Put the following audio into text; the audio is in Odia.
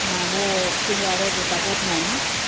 ସେଆଡେ ଆଉ ଗାତାଗତ ନାଇଁ ତ